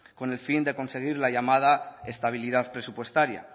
con el fin de conseguir la llamada estabilidad presupuestaria